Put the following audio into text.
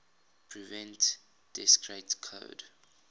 prevent discrete code